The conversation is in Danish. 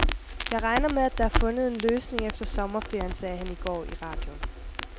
Jeg regner med, at der er fundet en løsning efter sommerferien, sagde han i går i radioen.